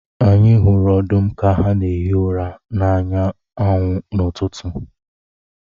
Anyi hụrụ ọdụm ka ha na-ehi ụra n’anya anwụ n’ụtụtụ.